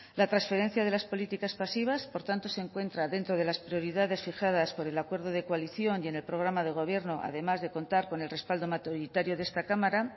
la transferencia de las políticas pasivas por tanto se encuentra dentro de las prioridades fijadas por el acuerdo de coalición y en el programa de gobierno además de contar con el respaldo mayoritario de esta cámara